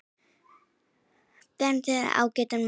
Bergur segir þau ágætan mat.